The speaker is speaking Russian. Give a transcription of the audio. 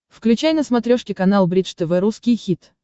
включай на смотрешке канал бридж тв русский хит